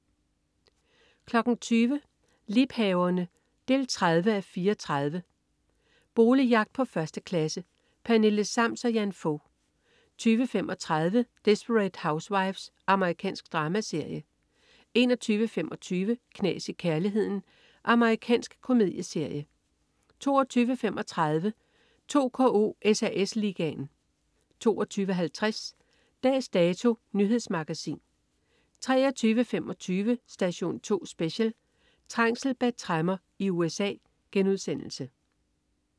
20.00 Liebhaverne 30:34. Boligjagt på 1. klasse. Pernille Sams og Jan Fog 20.35 Desperate Housewives. Amerikansk dramaserie 21.25 Knas i kærligheden. Amerikansk komedieserie 22.35 2KO: SAS Ligaen 22.50 Dags Dato. Nyhedsmagasin 23.25 Station 2 Special: Trængsel bag tremmer i USA*